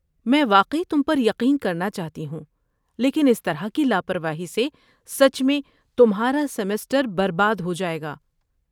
میں واقعی تم پر یقین کرنا چاہتی ہوں، لیکن اس طرح کی لاپرواہی سے سچ میں تمہارا سمسٹر برباد ہو جائے گا۔